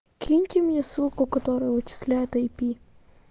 киньте мне ссылку которая вычисляет ай пи